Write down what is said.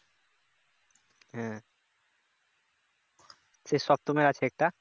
সে সপ্তমের আছে একটা